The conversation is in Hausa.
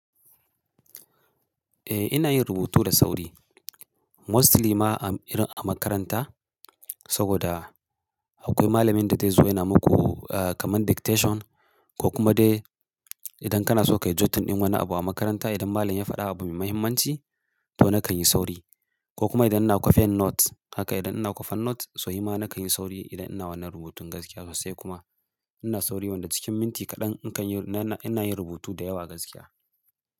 Eh ina yin rubutu da sauri mostly ma a, irin a makaranta, saboda, akwai malamin da zai zo yana muku ah, kamar dictation, ko kuma dai idan kana so ka yi jotin ɗin wani abu a makaranta idan malam ya faɗa abu mai mahimmanci, to nakan yi sauri, ko kuma idan ina kwafen note, haka idan ina kwafen note, so nima nakan yi sauri idan ina wannan rubutun gaskiya sosai kuma. Ina sauri wanda cikin minti kaɗan in kan yi, na, ina yin rubutu da yawa gaskiya,